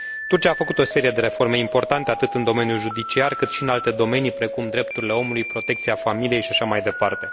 Turcia a făcut o serie de reforme importante atât în domeniul judiciar, cât și în alte domenii, precum drepturile omului, protecția familiei și așa mai departe.